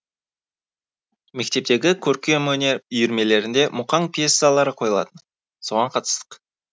мектептегі көркемөнер үйірмелерінде мұқаң пьесалары қойылатын соған қатыстық